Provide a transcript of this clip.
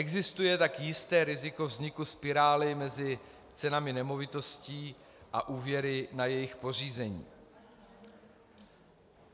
Existuje tak jisté riziko vzniku spirály mezi cenami nemovitostí a úvěry na jejich pořízení.